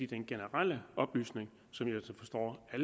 den generelle oplysning som jeg altså forstår at